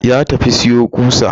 Ya tafi siyo ƙusa.